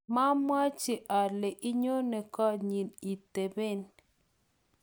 mamwochi ale inyoni koot nyin itoben